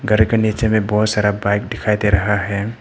घर के नीचे में बहोत सारा बाइक दिखाई दे रहा है।